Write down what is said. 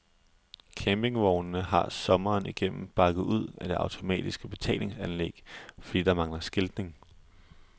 Campingvogne har sommeren igennem bakket ud af det automatiske betalingsanlæg, fordi der mangler skiltning.